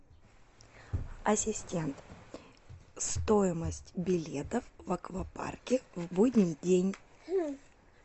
ассистент стоимость билетов в аквапарке в будний день